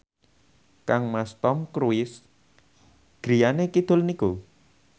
kangmas Tom Cruise griyane kidul niku